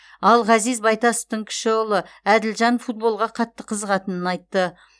ал ғазиз байтасовтың кіші ұлы әділжан футболға қатты қызығатынын айтты